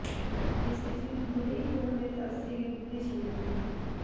বেশ কিছুদিন ধরেই ফোরামের কাজ থেকে দূরে ছিলেন তিনি